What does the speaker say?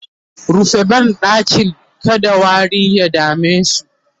rufe banɗakin kada wari ya damemu!